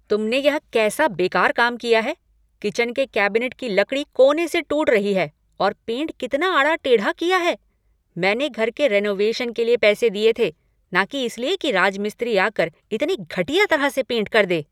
तुमने यह कैसा बेकार काम किया है। किचन के कैबिनेट की लकड़ी कोने से टूट रही है और पेंट कितना आड़ा टेढ़ा किया है। मैंने घर के रेनोवेशन के लिए पैसे दिए थे न कि इसलिए कि राजमिस्त्री आकर इतने घटिया तरह से पेंट कर दे!